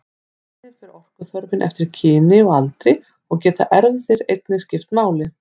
Einnig fer orkuþörfin eftir kyni og aldri og geta erfðir einnig skipt máli.